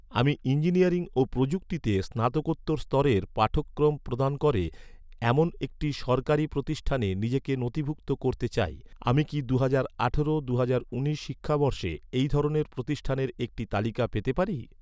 আমি ইঞ্জিনিয়ারিং ও প্রযুক্তিতে স্নাতকোত্তর স্তরের পাঠ্যক্রম প্রদান করে, এমন একটি সরকারি প্রতিষ্ঠানে নিজেকে নথিভুক্ত করতে চাই, আমি কি দুহাজার আঠারো দুহাজার উনিশ শিক্ষাবর্ষে এই ধরনের প্রতিষ্ঠানের একটা তালিকা পেতে পারি?